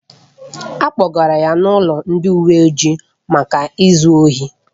A kpọgara ya n'ọdụ ndị uwe ojii maka izu ohi